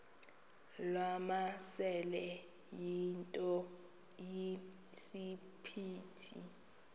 wamasele yinto esisiphithi